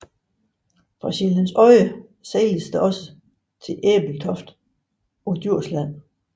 Fra Sjællands Odde sejles der også til Ebeltoft på Djursland